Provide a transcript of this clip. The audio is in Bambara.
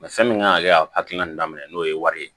fɛn min kan ka kɛ a hakilina daminɛ n'o ye wari ye